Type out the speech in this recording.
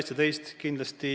Üks ei välista teist.